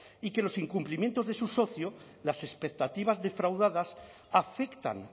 y que los incumplimientos de su socio las expectativas defraudadas afectan